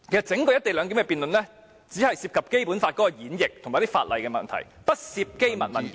整項"一地兩檢"的辯論只涉及《基本法》的演繹及法例的問題，不涉及機密文件。